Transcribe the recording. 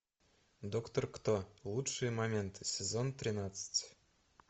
доктор кто лучшие моменты сезон тринадцать